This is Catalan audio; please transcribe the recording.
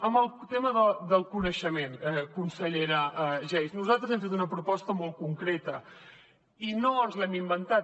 en el tema del coneixement consellera geis nosaltres hem fet una proposta molt concreta i no ens l’hem inventada